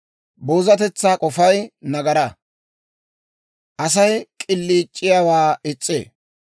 Boozatetsaa k'ofay nagaraa; Asay k'iliic'iyaawaa is's'ee.